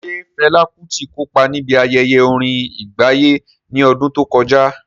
Ṣé Fela Kuti kópa níbi ayẹyẹ orin àgbáyé ní ọdún tó kọjá?